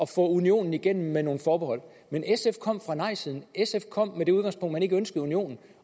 få unionen igennem med nogle forbehold men sf kom fra nejsiden sf kom med det udgangspunkt at man ikke ønskede unionen